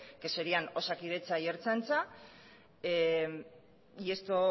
que serían osakidetza y ertzaintza y esto